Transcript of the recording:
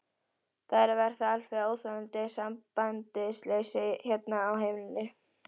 Það er að verða alveg óþolandi sambandsleysi hérna á heimilinu!